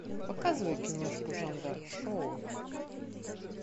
показывай киношку жанра шоу